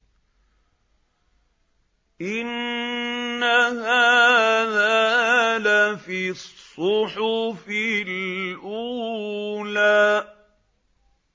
إِنَّ هَٰذَا لَفِي الصُّحُفِ الْأُولَىٰ